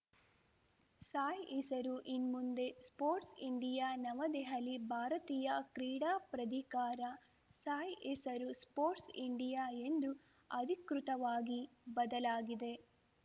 ಸಾಯ್‌ ಹೆಸರು ಇನ್ಮುಂದೆ sports India New Delhi ಭಾರತೀಯ ಕ್ರೀಡಾ ಪ್ರಧಿಕಾರಸಾಯ್‌ ಹೆಸರು ಸ್ಪೋರ್ಟ್ಸ್ ಇಂಡಿಯಾ ಎಂದು ಅಧಿಕೃತವಾಗಿ ಬದಲಾಗಿದೆ